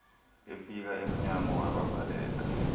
efika emnyango wabavalela